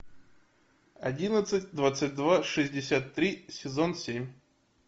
одиннадцать двадцать два шестьдесят три сезон семь